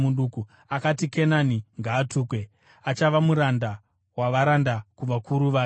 akati, “Kenani ngaatukwe! Achava muranda wavaranda kuvakuru vake.”